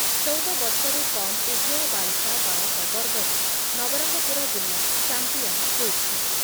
ଚଉଦ ବର୍ଷରୁ କମ୍ ଉଭୟ ବାଳିକା ବାଳକ ବର୍ଗରେ ନବରଙ୍ଗପୁର ଜିଲ୍ଲା ଚାମ୍ପିୟନ ହୋଇଛି ।